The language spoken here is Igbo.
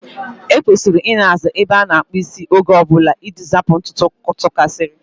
E kwesịrị Ị na-aza ebe a na-akpụ isi oge ọbụla iji zapụ ntutu tụkasiri.